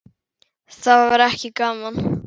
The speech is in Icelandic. Það var ekki gaman.